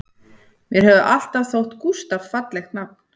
Mér hefur alltaf þótt Gústaf fallegt nafn